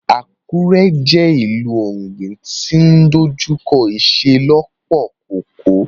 Akure jẹ ìlú ti ogbin ti o ní idojukọ iṣelọpọ koko.